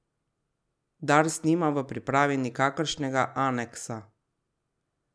Dars nima v pripravi nikakršnega aneksa.